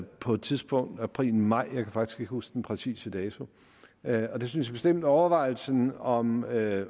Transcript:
på et tidspunkt i april eller maj jeg kan faktisk ikke huske den præcise dato og jeg synes bestemt at overvejelsen om at